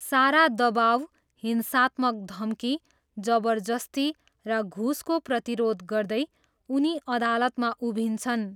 सारा दबाउ, हिंसात्मक धम्की, जबरजस्ती र घुसको प्रतिरोध गर्दै उनी अदालतमा उभिन्छन्।